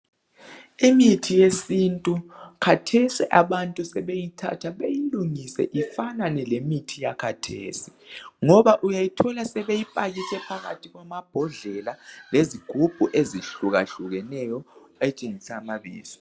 Imithi yesintu khathesi abantu sebeyithatha beyilungise ifanane lemithi yakhathesi ngoba uyayithola sebeyipakitshe phakathi kwamabhodlela lezigubhu ezihlukahlukeneyo ezitshengisa amabizo.